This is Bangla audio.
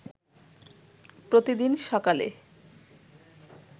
প্রতিদিন সকালে